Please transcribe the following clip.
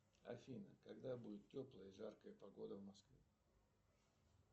афина когда будет теплая жаркая погода в москве